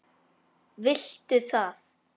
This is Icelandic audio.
Viltu það?